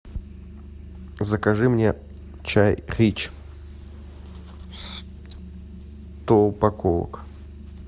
закажи мне чай рич сто упаковок